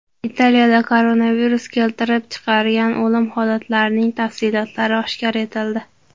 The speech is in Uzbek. Italiyada koronavirus keltirib chiqargan o‘lim holatlarining tafsilotlari oshkor etildi.